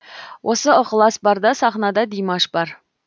осы ықылас барда сахнада димаш бар